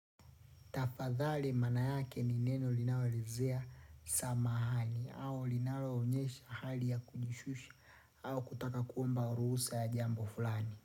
Tafadhali maana yake ni neno linaoelezea samahani au linaloonyesha hali ya kujishusha au kutaka kuomba ruhusa ya jambo fulani.